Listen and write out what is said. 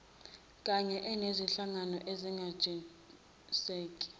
kany enezinhlangano ezazinentshisekelo